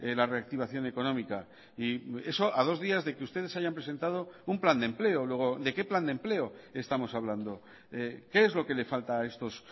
la reactivación económica y eso a dos días de que ustedes hayan presentado un plan de empleo luego de qué plan de empleo estamos hablando qué es lo que le falta a estos